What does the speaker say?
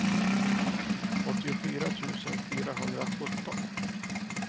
åttiofyra tusen fyrahundrasjutton